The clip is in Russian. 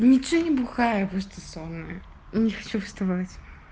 ничего не бухаю я просто сонная не хочу вставать